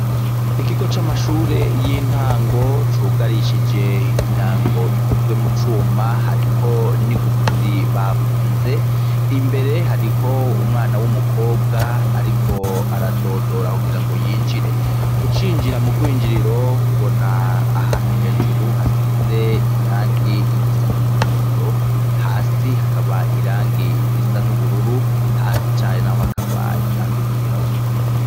Ikigo c'amashure y'intango cugarishije imyango ikozwe mucuma hariko n'igufuri bafunze, imbere hariho umwana w'umukobwa ariko aradodora kugirango yinjire. Ucinjira mu gwinjiriro ubona ahantu hejuru hasize irangi risa n'umuhondo ,hasi hakaba irangi risa n'ubururu, hasi cane naho hakaba irangi ry'irabura.